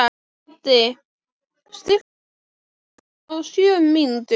Haddi, stilltu tímamælinn á sjö mínútur.